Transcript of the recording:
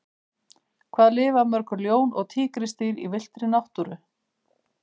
Hvað lifa mörg ljón og tígrisdýr í villtri náttúru?